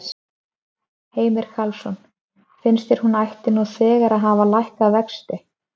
Heimir Karlsson: Finnst þér hún ætti nú þegar að hafa lækkað vexti?